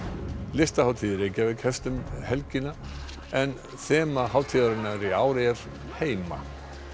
listahátíð í Reykjavík hefst um helgina en þema hátíðarinnar í ár er heima